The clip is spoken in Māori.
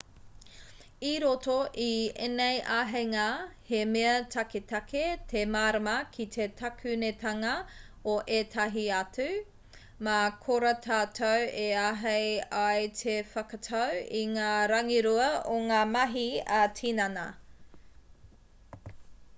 i roto i ēnei āheinga he mea taketake te mārama ki te takunetanga o ētahi atu mā korā tātou e āhei ai te whakatau i ngā rangirua o ngā mahi ā-tinana